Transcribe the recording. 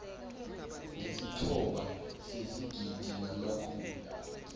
ngesithoba sezigidi namakhulu